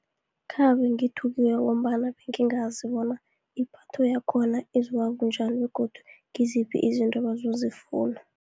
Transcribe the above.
Khabe ngithukiwe, ngombana bengingazi bona ipatho yakhona izoba bunjani, begodu ngiziphi izinto abazozifuna.